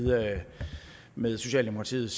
med socialdemokratiets